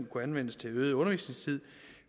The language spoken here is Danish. kunne anvendes til øget undervisningstid